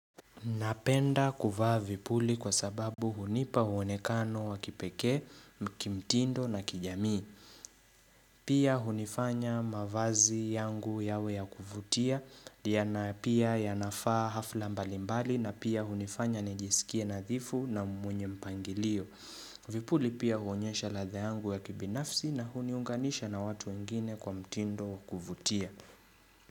Napenda kuvaa vipuli kwa sababu hunipa muonekano wa kipekee, kimtindo na kijamii. Pia hunifanya mavazi yangu yawe ya kuvutia, yana pia yanafaa hafla mbalimbali na pia hunifanya nijisikie nadhifu na mwenye mpangilio. Vipuli pia huonyesha ladha yangu ya kibinafsi na huniunganisha na watu wengine kwa mtindo wa kuvutia.